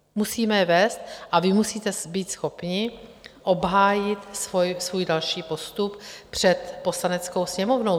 Musíme je vést a vy musíte být schopni obhájit svůj další postup před Poslaneckou sněmovnou.